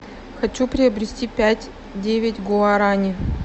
хочу приобрести пять девять гуарани